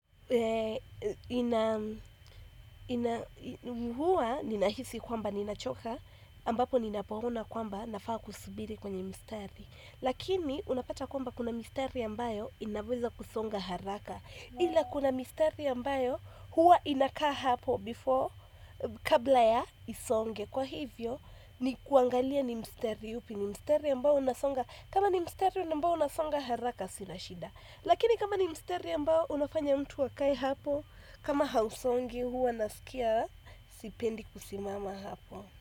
Ina huwa ninahisi kwamba ni nachoka ambapo ni napo ona kwamba nafaa kusubiri kwenye mstari lakini unapata kwamba kuna mistari ambayo inaweza kusonga haraka ila kuna mistari ambayo huwa inakaa hapo before kabla ya isonge kwa hivyo ni kuangalia ni mstari upi ni mstari ambao unasonga haraka sina shida lakini kama ni mstari ambao, unafanya mtu akae hapo kama hausongi huwa nasikia, sipendi kusimama hapo.